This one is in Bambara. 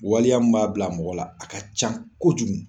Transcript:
Waliya min b'a bila mɔgɔ la a ka ca kojugu